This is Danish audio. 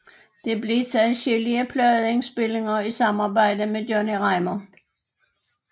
Det blev til adskillige pladeindspilninger i samarbejde med Johnny Reimar